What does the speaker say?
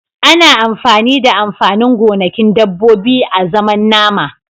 Ana amfani da amfanin gonakin dabbobi azaman nama.